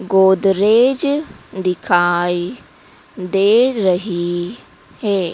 गोदरेज दिखाई दे रही हे ।